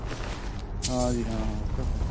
ਹਾਂਜੀ ਹਾਂ ਉਹ ਤਾਂ ਹੈ